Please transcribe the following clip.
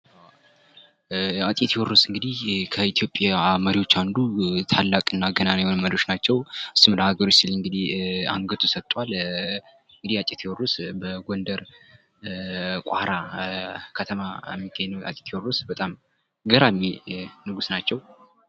አፄ ቴዎድርስ እንግዲህ ከኢትዮጵያ መሪዎች አንዱ ታላቅ እና ገናና የሆኑ መሪዎች ናቸው። ለሀገሩ ሲል እንግዲህ አንገቱን ሰጧል። አፄ ቴዎድሮስ በጎንደር ቋራ ከተማ የሚገኙ አፄ ቴዎድሮስ በጣም ገራሚ ንጉስ ናቸው።